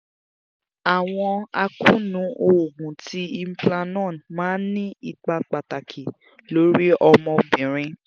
awọn akoonu oogun ti implanon maa n ni ipa pataki lori ọmọbirin